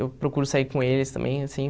Eu procuro sair com eles também, assim.